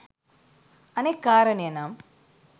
අනෙක් කාරණය නම්